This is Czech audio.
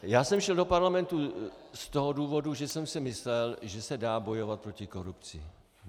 Já jsem šel do parlamentu z toho důvodu, že jsem si myslel, že se dá bojovat proti korupci.